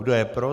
Kdo je pro?